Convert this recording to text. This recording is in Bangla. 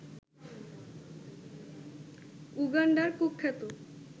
উগান্ডার কুখ্যাত